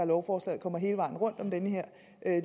lovforslaget kommer hele vejen rundt om den her